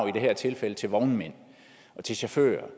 i dette tilfælde til vognmænd og til chauffører